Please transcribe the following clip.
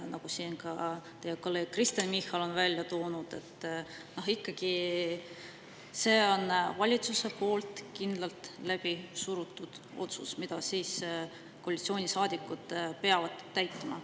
Nagu siin ka teie kolleeg Kristen Michal on välja toonud, ikkagi see on valitsuse poolt kindlalt läbi surutud otsus, mida koalitsioonisaadikud peavad täitma.